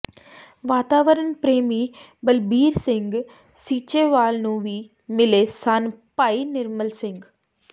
ਵਾਤਾਵਰਣ ਪ੍ਰੇਮੀ ਬਲਬੀਰ ਸਿੰਘ ਸੀਚੇਵਾਲ ਨੂੰ ਵੀ ਮਿਲੇ ਸਨ ਭਾਈ ਨਿਰਮਲ ਸਿੰਘ